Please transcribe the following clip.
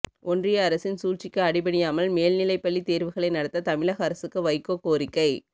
ஒன்றிய அரசின் சூழ்ச்சிக்கு அடிபணியாமல் மேல்நிலைப்பள்ளி தேர்வுகளை நடத்த தமிழக அரசுக்கு வைகோ கோரிக்கை